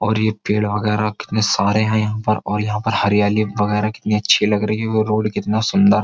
और ये पेड़ वगैरा कितने सारे हैं यहाँ पर और यहाँ पर हरियाली वगैरा कितनी अच्छी लग रही है। वो रोड कितना सुंदर --